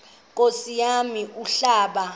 nkosi yam umhlaba